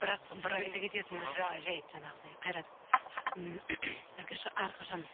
бірақ бір айта кететін жайт жанағыдай қайрат ммм әрқашан